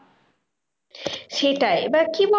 সেটাই এবার কি বলতো?